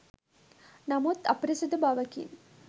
නමුත් අපිරිසිදු බවකින්